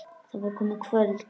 Það var komið kvöld.